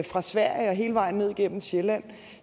fra sverige og hele vejen ned gennem sjælland